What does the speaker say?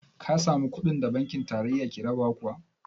Ka samu kuɗin da banki tarayya take rabawa kuwa?